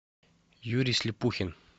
юрий слепухин